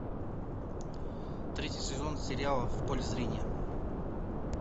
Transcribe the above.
третий сезон сериала в поле зрения